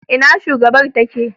Ina shugabar ta take?